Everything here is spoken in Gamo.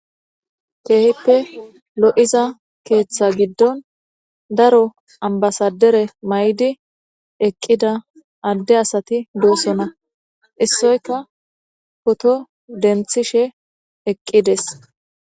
Kehippe lo7iza keeththa giddon daro ambasadere mayidi eqqida adde asati dossona issoyka pooto denthishe eqqides.